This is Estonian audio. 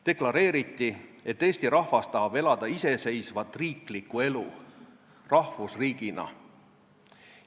Deklareeriti, et Eesti rahvas tahab elada iseseisvat riiklikku elu rahvusriigina.